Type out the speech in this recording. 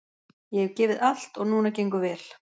Ég hef gefið allt og núna gengur vel.